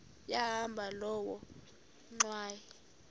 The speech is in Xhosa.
yahamba loo ngxwayi